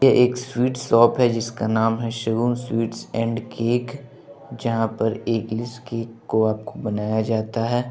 ये एक sweet shop है जिसका नाम है शगुन स्वीट्स एंड केक जहाँ पर एग्ग्लेस केक को आपको बनाया जाता है।